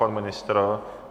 Pan ministr?